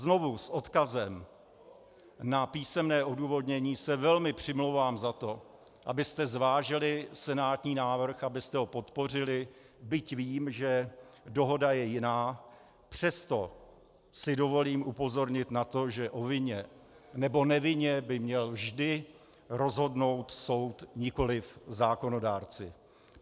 Znovu s odkazem na písemné odůvodnění se velmi přimlouvám za to, abyste zvážili senátní návrh, abyste ho podpořili, byť vím, že dohoda je jiná, přesto si dovolím upozornit na to, že o vině nebo nevině by měl vždy rozhodnout soud, nikoli zákonodárci.